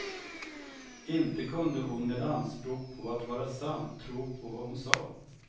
Inte kunde hon med anspråk på att vara sann tro på vad hon sade.